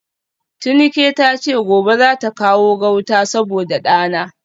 Tinuke tace gobe zata kawo gauta saboda dana